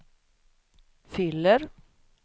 fyller